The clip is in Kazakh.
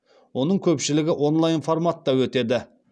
оның көпшілігі онлайн форматта өтеді